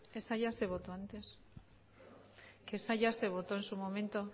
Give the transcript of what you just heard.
esa ya se votó antes que esa ya se votó en su momento